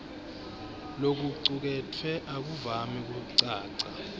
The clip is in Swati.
lokucuketfwe akuvami kucaca